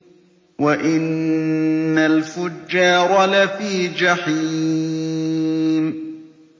وَإِنَّ الْفُجَّارَ لَفِي جَحِيمٍ